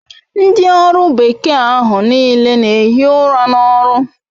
Ndi oru bekee ahu n'ile n'ehi ura n'oru